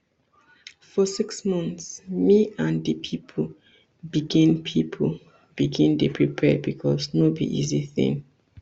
for six months me and di pipo begin pipo begin dey prepare becos no be easy tin